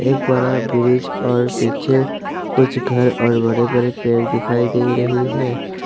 एक बड़ा ब्रिज और पीछे कुछ घर और बड़े बड़े पेड़ दिखाई दे रही है।